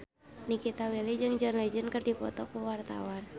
Nikita Willy jeung John Legend keur dipoto ku wartawan